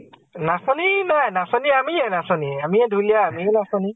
নাচনী নাই । নাচনী আমিয়ে নাচনী । আমিয়ে ধুলীয়া আমিয়ে নাচনী ।